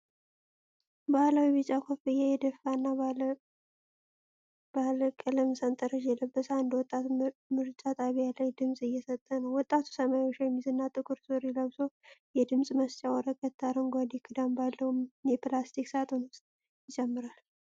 ባህላዊ ቢጫ ኮፍያ የደፋና ባለ ባለቀለም ሰንጠረዥ የለበሰ አንድ ወጣት ምርጫ ጣቢያ ላይ ድምፅ እየሰጠ ነው። ወጣቱ ሰማያዊ ሸሚዝ እና ጥቁር ሱሪ ለብሶ፣ የድምፅ መስጫ ወረቀት አረንጓዴ ክዳን ባለው የፕላስቲክ ሳጥን ውስጥ ይጨምራል።